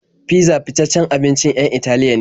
Fizza fitaccen abincin 'yan Italiya ne.